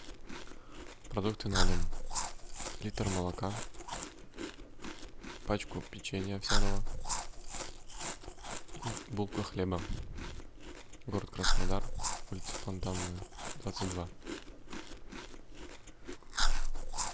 продукты на дом литр молока пачку печенья овсяного и булка хлеба город краснодар улица фонтанная двадцать два